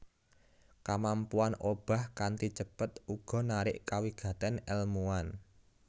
Kamampuan obah kanthi cepet uga narik kawigatèn èlmuwan